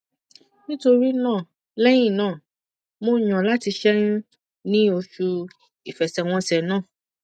nítorí náà lẹyìn náà mo yàn láti ṣẹyún ní oṣù ìfẹsẹwọnsẹ náà